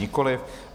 Nikoliv.